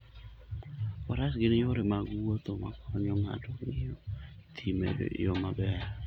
Faras gin yore mag wuoth makonyo ng'ato ng'iyo thim e yo maber.